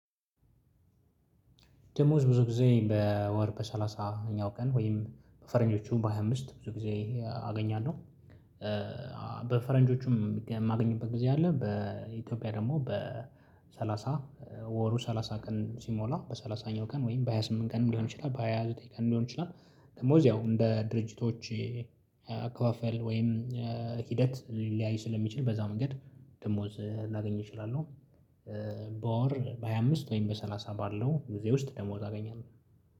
ደሞዝ ብዙ ጊዜ በወር በሰላሳኛው ቀን ወይም በፈረንጆቹ በሃያ አምስት ብዙ ጊዜ አገኛለሁ። በፈረንጆቹም የማገኝበት ጊዜ አለ። በኢትዮጵያ ደግሞ በሰላሳ ወሩ ሰላሳ ቀን ሲሞላ በሰላሳኛው ቀን ወይም በሃያ ስምንት ቀን ሊሆን ይችላል በሃያ ዘጠኝ ቀን ሊሆን ይችላል። ደመወዝ ያው እንደ ድርጅቶች አካፋፈል ወይም ሂደት ሊለያይ ስለሚችል በዛ መንገድ ደመወዝ ላገኝ እችላለሁ። በወር በሃያ አምስት ወይም በሰላሳ ባለው ጊዜ ውስጥ ደመወዝ አገኛለሁ።